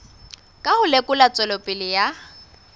ka ho lekola tswelopele ya